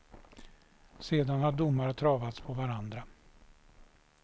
Sedan har domar travats på varandra.